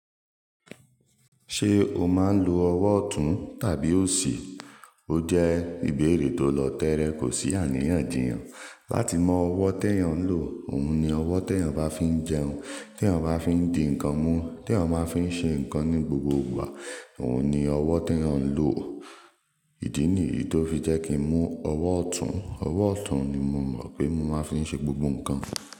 Ṣé o máa ń lo ọwọ́ ọ̀tún tàbí òsì? Ó jẹ́ ìbéèrè tó lọ̀ tẹ́rẹ, kò sí àríyànjìyàn. Láti mọ ọwọ́ tí èèyàn ń lò, òun ni ọwọ́ tí èèyàn bá fi ń jẹun, tí èèyàn bá fi ń di ǹkan mú, tí èèyàn bá fi ń ṣe ǹkan ní gbogbo ìgbà, òun ni ọwọ́ tí èèyàn ń lò. Ìdí nìyìí tó fi jẹ́ kí n mú ọwọ́ ọ̀tún, ọwọ́ ọ̀tún ni mo mọ̀ pé mo máa ń fi ṣe gbogbo ǹkan.